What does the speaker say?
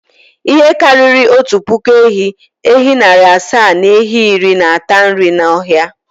Ihe karịrị otu puku ehi, ehi narị asa na ehi iri na-ata nri n’ọhịa.